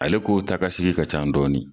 Ale ko ta ka sigi ka ca dɔɔni